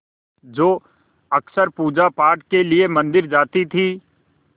जो अक्सर पूजापाठ के लिए मंदिर जाती थीं